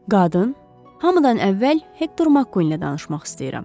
Qadın, hamıdan əvvəl Hektor Mak ilə danışmaq istəyirəm.